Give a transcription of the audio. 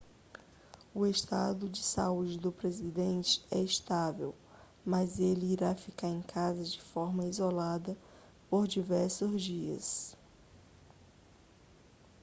o estado de saúde do presidente é estável mas ele irá ficar em casa de forma isolada por diversos dias